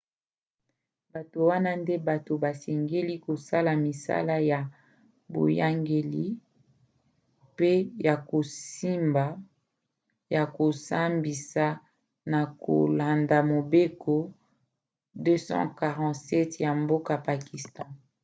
bato wana nde bato basengeli kosala misala ya boyangeli pe ya kosambisa na kolanda mobeko 247 ya mboka pakistan